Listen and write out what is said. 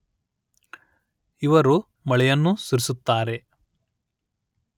ಇವರು ಮಳೆಯನ್ನು ಸುರಿಸುತ್ತಾರೆ